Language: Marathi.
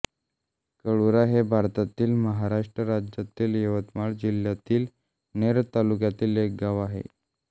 कोळुरा हे भारतातील महाराष्ट्र राज्यातील यवतमाळ जिल्ह्यातील नेर तालुक्यातील एक गाव आहे